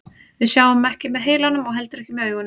Við sjáum ekki með heilanum og heldur ekki með augunum.